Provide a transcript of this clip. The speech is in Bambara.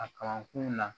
A kalan kun na